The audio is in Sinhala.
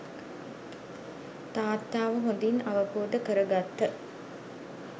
තාත්තාව හොඳින් අවබෝධ කරගත්ත